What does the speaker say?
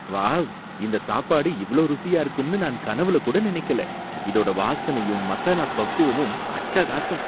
Wow! இந்த சாப்பாடு இவ்ளோ ருசியா இருக்கும்னு நான் கனவுல கூட நினைக்கல, இதோட வாசனையும் மசாலா பக்குவமும் அட்டகாசம்!